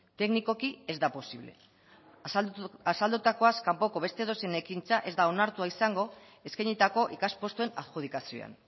teknikoki ez da posible azaldutakoaz kanpoko beste edozein ekintza ez da onartua izango eskainitako ikas postuen adjudikazioan